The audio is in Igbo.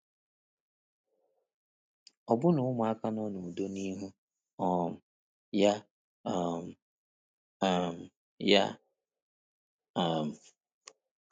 Ọbụna ụmụaka nọ n’udo n’ihu um ya. um um ya. um